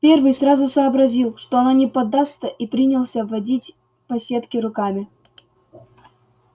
первый сразу сообразил что она не поддастся и принялся водить по сетке руками